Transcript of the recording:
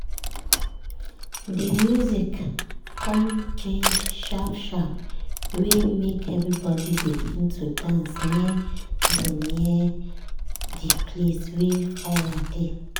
de music con change sharp sharp wey make everybody begin to dance near de near de place wey fire dey.